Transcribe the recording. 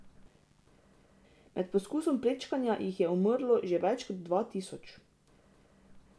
Med poskusom prečkanja jih je umrlo že več kot dva tisoč.